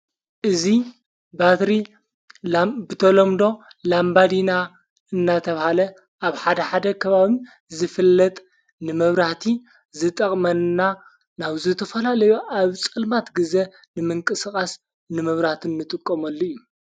እዙ ባትሪ ብተሎምዶ ላንባዲና እናተብሃለ ኣብ ሓደ ሓደ ክባሚ ዝፍለጥ ንመብራቲ ዝጠቕመንና ናብ ዝተፈላለዮ ኣብ ጸልማት ጊዜ ንምንቂስቓስ ንመብራትን ንጥቆመሉ እዩ።